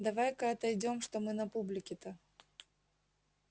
давай-ка отойдём что мы на публике-то